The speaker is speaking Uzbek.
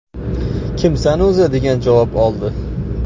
Kimsan o‘zi?” degan javob oldi.